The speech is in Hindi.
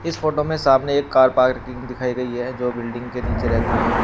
फोटो में सामने एक कार पार्किंग दिखाई गई है जो बिल्डिंग के नीचे रहती है।